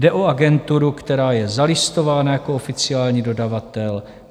Jde o agenturu, která je zalistována jako oficiální dodavatel.